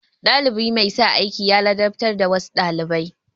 Ɗalibi mai sa aiki ya ladabtar da wasu ɗalibai.